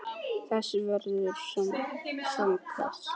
Þess verður saknað.